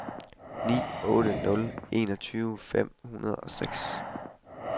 ni otte nul en tyve fem hundrede og seks